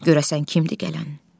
Görəsən kimdir gələn?